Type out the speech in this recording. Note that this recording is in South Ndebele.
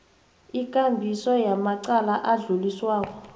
ikambiso yamacala adluliswako